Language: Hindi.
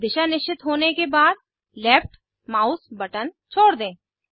दिशा निश्चित होने के बाद लेफ्ट माउस बटन छोड़ दें